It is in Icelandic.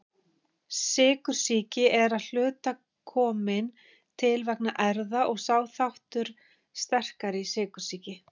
Sykursýki er að hluta komin til vegna erfða og er sá þáttur sterkari í sykursýki.